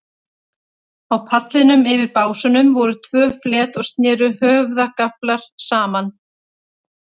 Á pallinum, yfir básunum, voru tvö flet og sneru höfðagaflar saman.